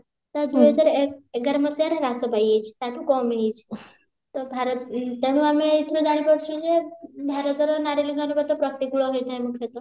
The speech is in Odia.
ତ ଦୁଇ ହଜାର ଏକ ଏଗାର ମସିହାରେ ହ୍ରାସ ପାଇଯାଇଛି ତା ଠୁ କମିଯାଇଛି ତ ଭାରତ ତେଣୁ ଆମେ ଏଇଥିରୁ ଜାଣିପାରୁଛୁ ଯେ ଭାରତର ନାରୀ ଲିଙ୍ଗାନୁପାତ ପ୍ରତିକୂଳ ହେଇଯାଏ ମୁଖ୍ୟତଃ